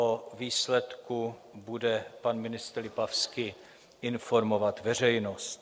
O výsledku bude pan ministr Lipavský informovat veřejnost.